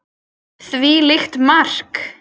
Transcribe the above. Hvílíkt mark!!